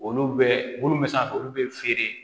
Olu bɛ munnu bɛ san olu bɛ feere